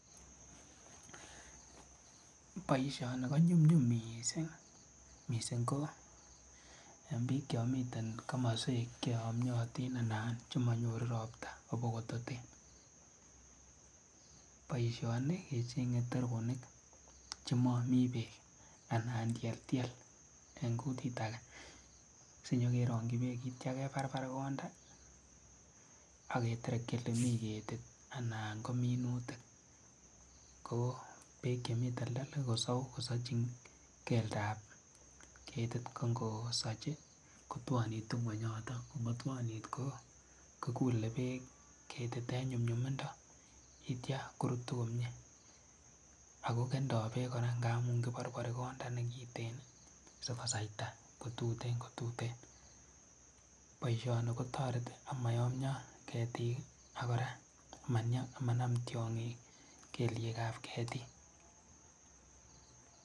Boishoni konyumnyum mising, mising ko tukuk chemiten komoswek cheyomiotin anan chemonyoru robta abokototen, boishoni icheng'e teronik chemomii beek anan tieltiel en kutit akee, sinyokerongyi beek akityo kebarbar konda ak keterekyi elemii ketit anan komonutik ko beek chemii teltel kosou kosochin keldab ketit ko ng'osochi kotwonitu ng'weny yoton ko ng'otwonit ko kulee beek ketit en nyumnyumindo yeityo korutu komiee ak ko kendo beek kora ng'amun kiborbori konda nekiten sikosaita kotutenkotuten, boishoni kotoreti amoyomnyo ketik ak ko kora amanam tiong'ik keliekab ketik.